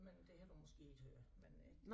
Men det havde du måske ikke hørt men øh